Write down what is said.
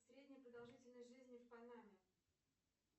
средняя продолжительность жизни в панаме